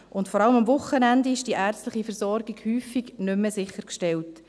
Vor allem am Wochenende ist die ärztliche Versorgung häufig nicht mehr sichergestellt.